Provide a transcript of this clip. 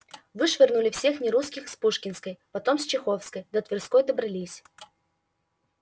вышвырнули всех нерусских с пушкинской потом с чеховской до тверской добрались